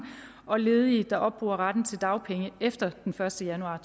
og ledige der opbruger retten til dagpenge efter den første januar